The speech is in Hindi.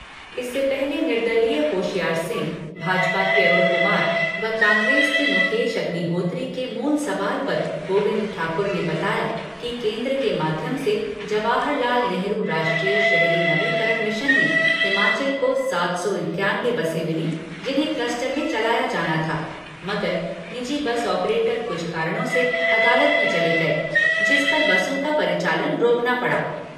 इससे पहले निर्दलीय होशियार सिंह, भाजपा के अरूण कुमार व कांग्रेस के मुकेश अग्निहोत्री के मूल सवाल पर गोबिंद ठाकुर ने बताया कि केंद्र के माध्यम से जवाहरलाल नेहरू राष्ट्रीय शहरी नवीकरण मिशन में हिमाचल को सात सौ इक्यानवे बसें मिली जिन्हें क्लस्टर में चलाया जाना था मगर निजी बस ऑपरेटर कुछ कारणों से अदालत में चले गए जिस पर बसों का परिचालन रोकना पड़ा।